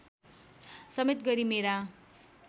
समेत गरी मेरा